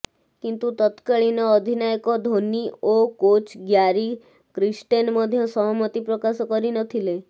କିନ୍ତୁ ତତ୍କାଳୀନ ଅଧିନାୟକ ଧୋନୀ ଓ କୋଚ୍ ଗ୍ୟାରି କ୍ରିଷ୍ଟେନ୍ ମଧ୍ୟ ସହମତି ପ୍ରକାଶ କରିନଥିଲେ